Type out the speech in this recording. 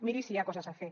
miri si hi ha coses a fer